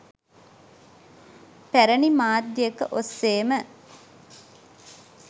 පැරණි මාධ්‍යයක ඔස්සේම